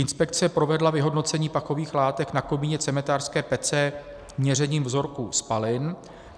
Inspekce provedla vyhodnocení pachových látek na komíně cementářské pece měřením vzorků spalin.